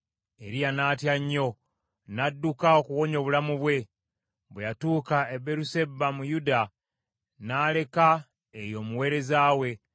Eriya n’atya nnyo, n’adduka okuwonya obulamu bwe. Bwe yatuuka e Beeruseba mu Yuda, n’aleka eyo omuweereza we.